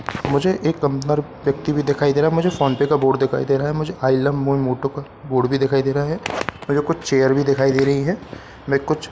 मुझे एक अंदर व्यक्ति भी दिखाई दे रहा है मुझे फोनपे का बोर्ड दिखाई दे रहा है मुझे आई लव मोइ मोटो का बोर्ड भी दिखाई दे रहा है मुझे कुछ चेयर भी दिखाई दे रही हैं मै कुछ --